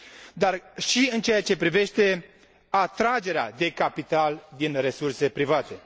dar și în ceea ce privește atragerea de capital din resurse private.